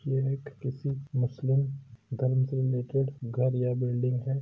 यह एक किसी मुस्लिम गर्म से रिलेटेड घर या बिल्डिंग है।